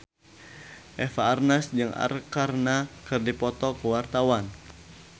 Eva Arnaz jeung Arkarna keur dipoto ku wartawan